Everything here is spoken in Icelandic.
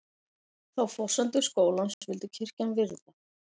Þá forsendu skólans vildi kirkjan virða